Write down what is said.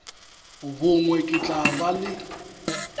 bongwe ke tla ba le